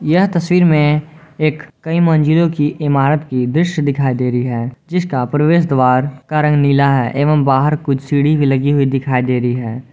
यह तस्वीर में एक कई मंजिलों की इमारत की दृश्य दिखाई दे रही है जिसका प्रवेश द्वार का रंग नीला है एवं बाहर कुछ सीढ़ी भी लगी हुई दिखाई दे रही है।